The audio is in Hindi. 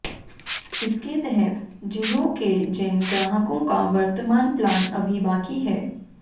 इसके तहत जियो के जिन ग्राहकों का वर्तमान प्लान अभी बाकी है